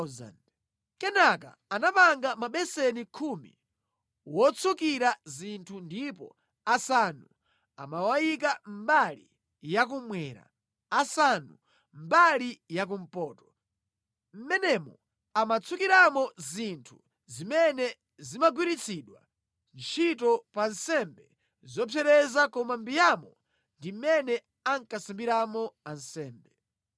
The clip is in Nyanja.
Kenaka anapanga mabeseni khumi otsukira zinthu ndipo asanu amawayika mbali ya kummwera, asanu mbali ya kumpoto. Mʼmenemo amatsukiramo zinthu zimene zimagwiritsidwa ntchito pa nsembe zopsereza koma mbiyamo ndi mʼmene ankasambiramo ansembe.